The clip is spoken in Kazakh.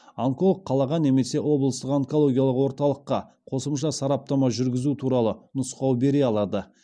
онколог қалаға немесе облыстық онкологиялық орталыққа қосымша сараптама жүргізу туралы нұсқау бере алады